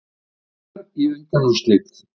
Njarðvíkingar í undanúrslit